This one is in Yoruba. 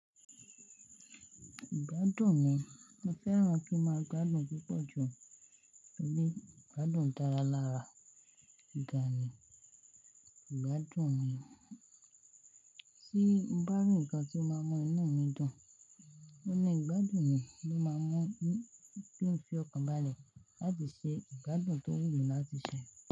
Ìgbádùn mi, mo fẹ́ràn kí ń máa gbádùn púpọ̀ jù. Torí ìgbádùn dára lára ga ni ìgbádùn mi. Tíí n bá rí ǹkan tí ó máa ń mú inú mi dùn. Ó ní ìgbádùn mi ló máa ń mú kí n fi ọkàn balẹ̀ láti ṣe ìgbádùn tó wù mí láti ṣe.